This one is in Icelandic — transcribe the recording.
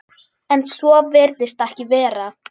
En svo virðist ekki vera.